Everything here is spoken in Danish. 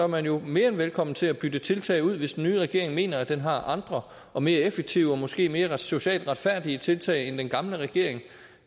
man jo mere end velkommen til at bytte tiltag ud hvis den nye regering mener den har andre og mere effektive og måske mere socialt retfærdige tiltag end den gamle regering